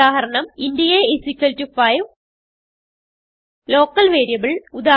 ഉദാഹരണം160 int a5 local variable